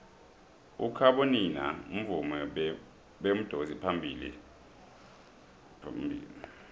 ukhabonino mvumi bemudansi ophuma phambilo